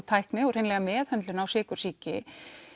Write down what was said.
tækni og meðhöndlunar á sykursýki